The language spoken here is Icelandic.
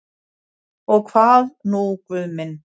Og hvað nú Guð minn?